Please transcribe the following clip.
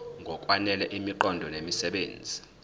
ngokwanele imiqondo nemisebenzi